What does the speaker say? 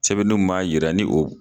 Sɛbɛli mun b'a yira ni o